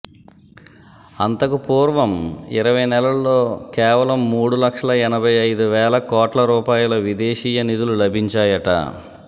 అంతకు పూర్వం ఇరవై నెలల్లో కేవలం మూడు లక్షల ఎనబయి ఐదు వేల కోట్ల రూపాయల విదేశీయ నిధులు లభించాయట